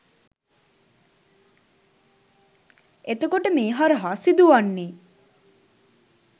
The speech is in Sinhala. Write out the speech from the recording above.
එතකොට මේ හරහා සිදු වන්නේ